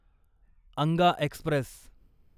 Anga Express